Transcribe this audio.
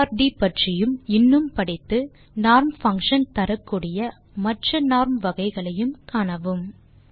art பற்றியும் இன்னும் படித்து நார்ம் பங்ஷன் தரக்கூடிய மற்ற நார்ம் வகைகளையும் காணவும்